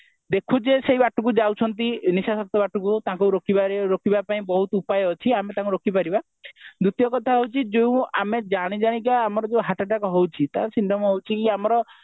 ଦେଖୁଛେ ସେଇ ବାଟକୁ ଯାଉଛନ୍ତି ନିସଶକ୍ତି ବାଟକୁ ତାଙ୍କୁ ରକିବାରେ ରକିବା ପାଇଁ ବହୁତ ଉପାୟ ଅଛି ଆମେ ତାଙ୍କୁ ରୋକିପାରିବା ଦ୍ଵିତୀୟ କଥା ହଉଛି ଯୋଉ ଆମେ ଜାଣିଜାଣି କା ଆମର ଯୋଉ heart attack ହେଉଛି ତାର symptom ହେଉଛି ଆମର